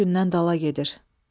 Günü-gündən dala gedir.